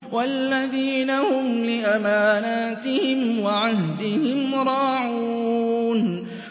وَالَّذِينَ هُمْ لِأَمَانَاتِهِمْ وَعَهْدِهِمْ رَاعُونَ